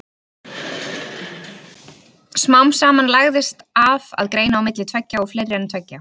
Smám saman lagðist af að greina á milli tveggja og fleiri en tveggja.